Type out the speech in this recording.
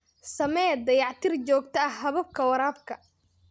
Samee dayactir joogto ah hababka waraabka.